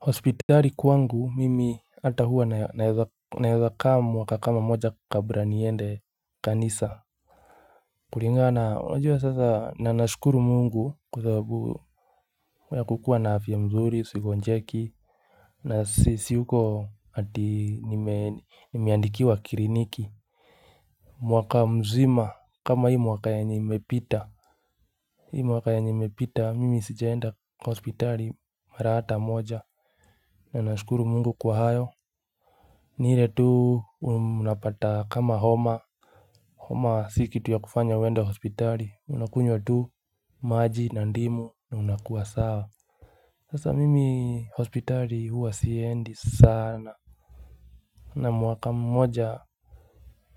Hospitari kwangu mimi ata huwa naeza kama mwaka kama moja kabra niende kanisa kulingana na unajua sasa na nashukuru mungu kwa sababu ya kukua na afya mzuri sigonjeki na siyuko ati nimeandikiwa kriniki mwaka mzima kama hii mwaka yenye imepita Hii mwaka yenye imepita mimi sijaenda kwa hospitali mara hata moja na nashukuru mungu kwa hayo ni ile tu unapata kama homa, homa si kitu ya kufanya uende hospitali, unakunywa tu maji na ndimu na unakuwa sawa Sasa mimi hospitali huwa siendi sana na mwaka mmoja